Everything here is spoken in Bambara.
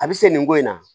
A bɛ se nin ko in na